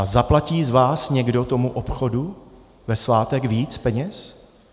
A zaplatí z vás někdo tomu obchodu ve svátek víc peněz?